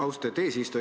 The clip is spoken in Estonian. Austet eesistuja!